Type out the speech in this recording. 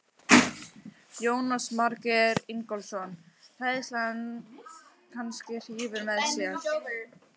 Jónas Margeir Ingólfsson: Hræðslan kannski hrífur með sér?